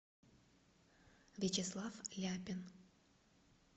вячеслав ляпин